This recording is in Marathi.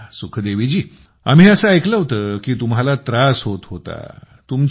अच्छा आम्ही असे ऐकलं की तुम्हाला त्रास होत होता